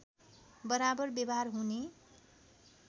बराबर व्यवहार हुने